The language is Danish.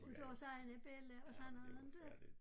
Uden deres egne bella og sådan noget inte